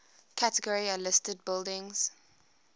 category a listed buildings